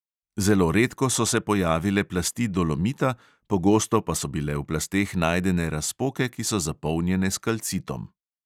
Zelo redko so se pojavile plasti dolomita, pogosto pa so bile v plasteh najdene razpoke, ki so zapolnjene s kalcitom.